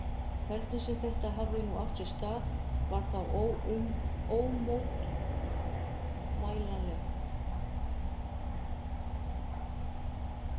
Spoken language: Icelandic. Hvernig sem þetta hafði nú átt sér stað, var það ómótmælanlegt.